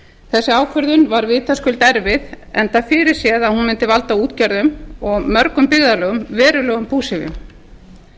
þessi ákvörðun var vitaskuld erfið enda fyrirséð að hún mundi valda útgerðum og mörgum byggðarlögum verulegum búsifjum